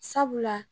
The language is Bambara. Sabula